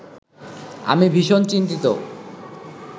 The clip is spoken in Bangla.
আমি ভীষণ চিন্তিত